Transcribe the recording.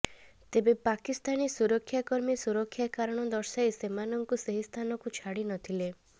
ତେବେ ପାକିସ୍ତାନୀ ସୁରକ୍ଷା କର୍ମୀ ସୁରକ୍ଷା କାରଣ ଦର୍ଶାଇ ସେମାନଙ୍କୁ ସେହି ସ୍ଥାନକୁ ଛାଡ଼ି ନଥିଲେ